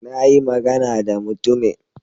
Na yi magana da mutumin.